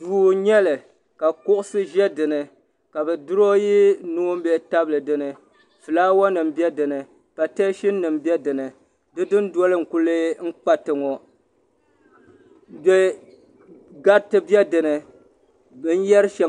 Duu n nyeli ka kuɣusi ʒe din ni ka durooyi noonbihi n tabili din ni fulaawanim be din ni pateesinim be din ni di dundoli n kuli kpati ŋɔ gariti be dini.